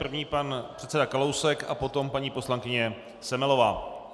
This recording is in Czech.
První pan předseda Kalousek a potom paní poslankyně Semelová.